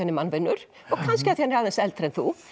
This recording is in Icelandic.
er mannvinur og kannski af því hann er aðeins eldri en þú